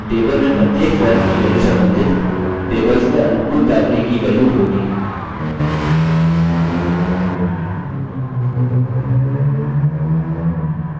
मतलब table में प्रत्येक foreign की value सम्बन्धित tables में अनुकूल primary की value होगी